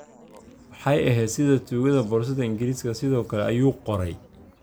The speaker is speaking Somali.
"Waxay ahayd sida tuugada boorsada Ingiriiska, sidoo kale," ayuu qorey.